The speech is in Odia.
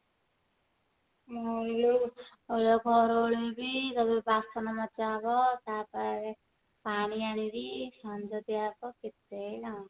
ମୁଁ ଗଲେ ଏଇନା ଘର ଓଳେଇବି ତାପରେ ବାସନ ମଜା ହବ ତାପରେ ପାଣି ଆଣିବି ସଞ୍ଜ ଦିଆ ହବ କେତେ କାମ